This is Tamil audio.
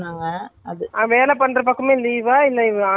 okay நாங்க நேத்து ஒரு photo அனுப்புனோம் பார்த்தியா?